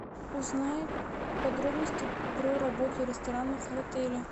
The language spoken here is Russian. узнай подробности про работу ресторанов в отеле